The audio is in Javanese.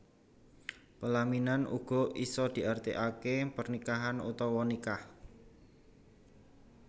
Pelaminan uga isa diarti ake pernikahan utawa nikah